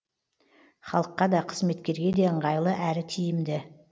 халыққа да қызметкерге де ыңғайлы әрі тиімді